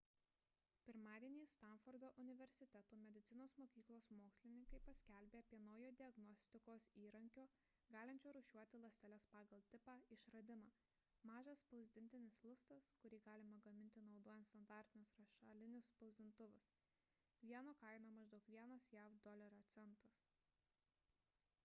pirmadienį stanfordo universiteto medicinos mokyklos mokslininkai paskelbė apie naujo diagnostikos įrankio galinčio rūšiuoti ląsteles pagal tipą išradimą mažas spausdintinis lustas kurį galima gaminti naudojant standartinius rašalinius spausdintuvus vieno kaina maždaug vienas jav dolerio centas